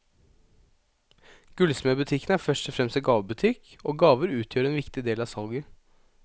Gullsmedbutikken er først og fremst en gavebutikk, og gaver utgjør en viktig del av salget.